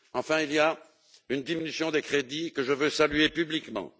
Enfin, il y a une diminution des crédits que je veux saluer publiquement.